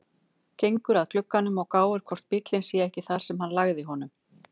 Gengur að glugganum og gáir hvort bíllinn sé ekki þar sem hann lagði honum.